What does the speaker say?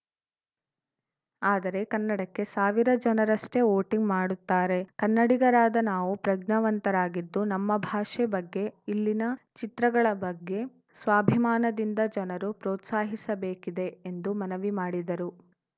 ಆದರೆ ಕನ್ನಡಕ್ಕೆ ಸಾವಿರ ಜನರಷ್ಟೇ ವೋಟಿಂಗ್‌ ಮಾಡುತ್ತಾರೆ ಕನ್ನಡಿಗರಾದ ನಾವು ಪ್ರಜ್ಞಾವಂತರಾಗಿದ್ದು ನಮ್ಮ ಭಾಷೆ ಬಗ್ಗೆ ಇಲ್ಲಿನ ಚಿತ್ರಗಳ ಬಗ್ಗೆ ಸ್ವಾಭಿಮಾನದಿಂದ ಜನರು ಪ್ರೋತ್ಸಾಹಿಸಬೇಕಿದೆ ಎಂದು ಮನವಿ ಮಾಡಿದರು